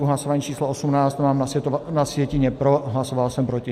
U hlasování číslo 18 mám na sjetině pro, hlasoval jsem proti.